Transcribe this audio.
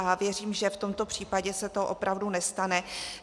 A věřím, že v tomto případě se to opravdu nestane.